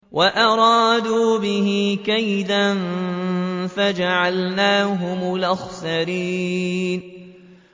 وَأَرَادُوا بِهِ كَيْدًا فَجَعَلْنَاهُمُ الْأَخْسَرِينَ